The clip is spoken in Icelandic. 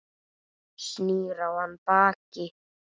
Snýr í hann baki.